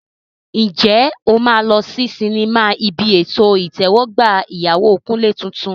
Ǹjẹ́ o máa lọ sí sinimá ibi ètò ìtẹ́wọ́gbà ìyàwó Kunle tuntun?